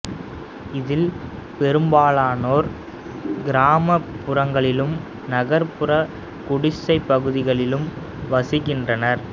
இதில் பெரும்பாலானோர் கிராம புறங்களிலும் நகர்புற குடிசைப் பகுதிகளிலும் வசிக்கின்றனர்